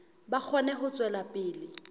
ba kgone ho tswela pele